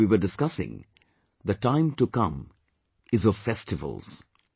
Like we were discussing, the time to come is of festivals